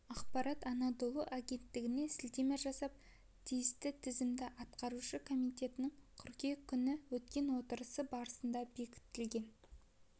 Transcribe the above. ақпарат анадолу агенттігіне сілтеме жасап тиісті тізім атқарушы комитетінің қыркүйек күні өткен отырысы барысында бекітілген